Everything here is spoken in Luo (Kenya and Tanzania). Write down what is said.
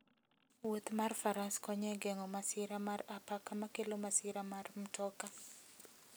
Wuoth mar faras konyo e geng'o masira mar apaka makelo masira mar mtoka.